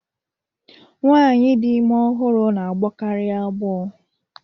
Nwaanyi dị ime ọhụrụ na-agbọkari agbọ.